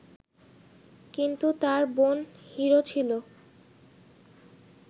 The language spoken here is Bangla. কিন্তু তার বোন হিরো ছিল